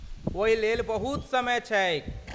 ओहि लेल बहुत समय छैक।